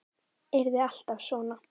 Yrði alltaf svona.